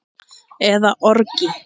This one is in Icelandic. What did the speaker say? eða orgi.